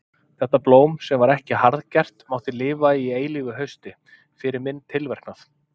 Þetta blóm sem var ekki harðgert mátti lifa í eilífu hausti, fyrir minn tilverknað.